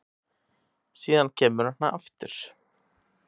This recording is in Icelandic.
Síðan kemur hann aftur